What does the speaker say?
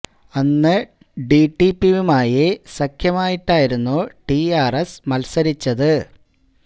അന്ന് ടി ഡി പിയുമായി സഖ്യമായിട്ടായിരുന്നു ടി ആര് എസ് മത്സരിച്ചത്